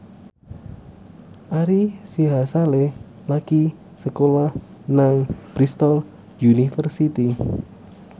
Ari Sihasale lagi sekolah nang Bristol university